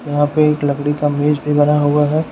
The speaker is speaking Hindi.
यहां पे एक लकड़ी का मेज भी बना हुआ है।